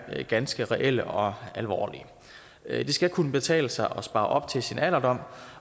er ganske reelle og alvorlige det skal kunne betale sig at spare op til sin alderdom